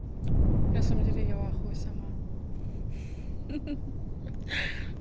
на самом деле я в ахуе сама